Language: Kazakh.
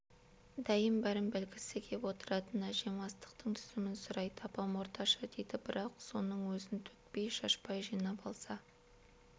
дәйім бәрін білгісі кеп отыратын әжем астықтың түсімін сұрайды апам орташа дейді бірақ соның өзін төкпей-шашпай жинап алса